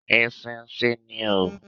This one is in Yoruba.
Eṣinṣin ni oo.